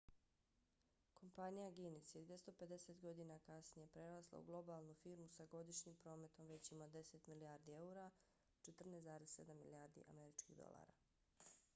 kompanija guinness je 250 godina kasnije prerasla u globalnu firmu sa godišnjim prometom većim od 10 milijardi eura 14,7 milijardi američkih dolara